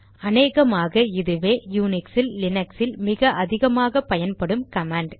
அநேகமாக இதுவே யுனிக்சில் லினக்ஸில் மிக அதிகமாக பயன்படும் கமாண்ட்